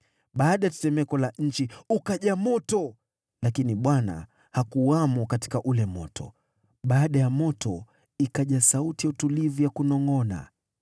Baada ya tetemeko la nchi ukaja moto, lakini Bwana hakuwamo katika ule moto. Baada ya moto ikaja sauti ya utulivu ya kunongʼona.